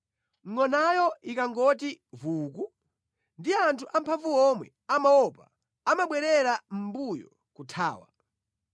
Ngʼonayo ikangovuwuka, ndi anthu amphamvu omwe amaopa; amabwerera mʼmbuyo, kuthawa.